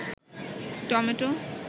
tomato